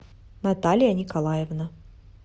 наталья николаевна